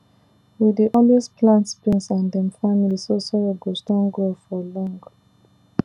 we dey always plant beans and dem family so soil go strong well for long